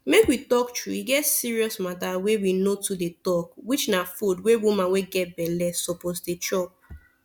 make we talk true e get serious mata wey we no too dey talk which na food wey woman wey get belle suppose dey chop